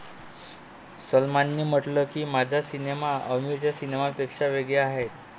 सलमानने म्हटलं की, 'माझा सिनेमा आमीरच्या सिनेमापेक्षा वेगळा आहे.